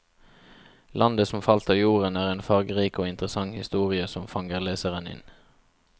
Landet som falt av jorden er en fargerik og interessant historie som fanger leseren inn.